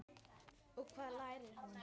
Og hvað lærir hún?